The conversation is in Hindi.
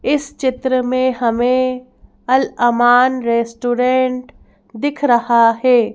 इस चित्र में हमें अलअमान रेस्टोरेंट दिख रहा है।